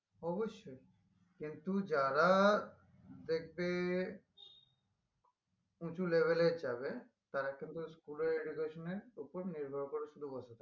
অবশ্যই কিন্তু যারা দেখবে উঁচু level এ যাবে তারা কিন্তু school এর education এর উপর নির্ভর করে শুধু বসে থাকে না